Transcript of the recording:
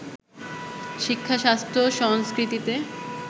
শিক্ষা-স্বাস্থ্য-সংস্কৃতিতে